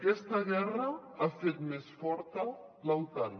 aquesta guerra ha fet més forta l’otan